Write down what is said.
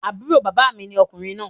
Àbúrò bàbá mi ni ọmọkùnrin náà